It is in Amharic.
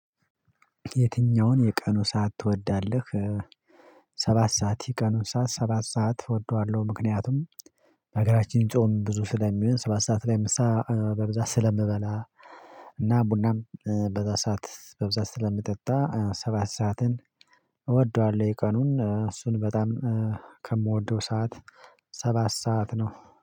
የትኛውን የቀኑ ሰዓት ትወዳለህ? ሰባት ሰዓት የቀኑ ሰዓት ሰባት ሰዓት እወደዋለሁ ምክንያቱም በሀገራችን ጾም ብዙ ስለሚሆን ሰባት ሰዓት ላይ ምሳ በብዛት ስለምበላ ቡናም በዚያ ሰዓት በብዛት ስለምጠጣ ሰባት ሰዓትን እወደዋለሁ ቀኑን እሱን በጣም ከምወደው ሰዓት ሰባት ሰዓት ነው